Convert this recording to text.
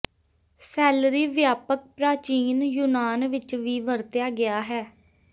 salary ਵਿਆਪਕ ਪ੍ਰਾਚੀਨ ਯੂਨਾਨ ਵਿਚ ਵੀ ਵਰਤਿਆ ਗਿਆ ਹੈ